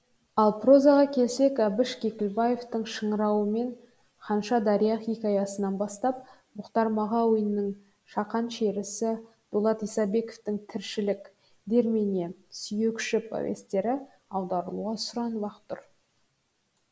ал прозаға келсек әбіш кекілбаевтың шыңырауы мен ханша дария хикаясынан бастап мұхтар мағауиннің шақан шерісі дулат исабековтің тіршілік дермене сүйекші повестері аударылуға сұранып ақ тұр